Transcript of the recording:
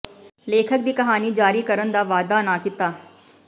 ਲੇਖਕ ਦੀ ਕਹਾਣੀ ਜਾਰੀ ਕਰਨ ਦਾ ਵਾਅਦਾ ਨਾ ਕੀਤਾ